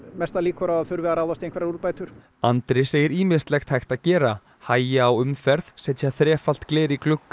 mestar líkur á að þurfi að ráðast í úrbætur Andri segir ýmislegt hægt að gera hægja á umferð setja þrefalt gler í glugga